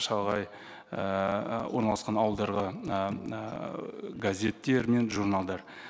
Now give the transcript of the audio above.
шалғай ііі орналасқан ауылдарға газеттер мен журналдар